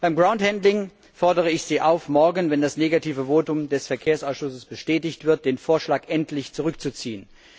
Beim Groundhandling fordere ich Sie auf, morgen wenn das negative Votum des Verkehrsausschusses bestätigt wird den Vorschlag endlich zurückzuziehen.